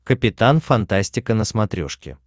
капитан фантастика на смотрешке